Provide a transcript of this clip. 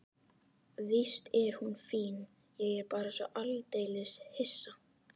Víst er hún fín, ég er bara svo aldeilis hissa.